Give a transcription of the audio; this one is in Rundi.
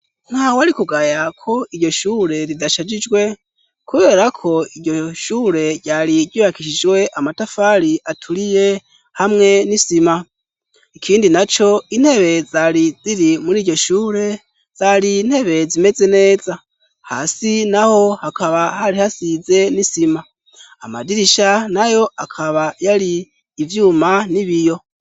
Ntawari kugaya ko iryo shure ridashajijwe, kubera ko iryo shure ryari ryubakishijwe amatafari aturiye, hamwe n'isima. Ikindi naco, intebe zari ziri muri iryo shure, zari intebe zimeze neza, hasi naho hakaba hari hasize n'isima, amadirisha nayo akaba yari ivyuma n'ibiyo.